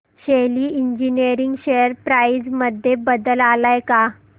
शेली engineering share price मध्ये बदल आलाय का